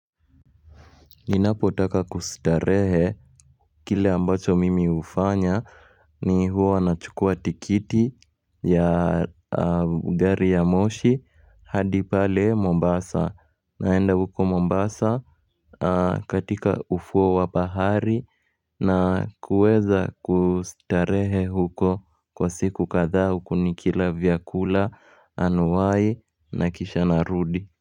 Ninapotaka kustarehe kile ambacho mimi hufanya ni huwa nachukua tikiti ya gari ya moshi hadi pale Mombasa naenda huko Mombasa katika ufuo wa bahari na kuweza kustarehe huko kwa siku kadhaa huku nikila vyakula anuwai na kisha narudi.